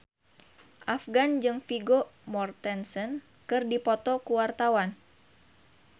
Afgan jeung Vigo Mortensen keur dipoto ku wartawan